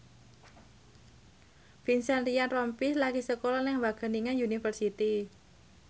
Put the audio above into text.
Vincent Ryan Rompies lagi sekolah nang Wageningen University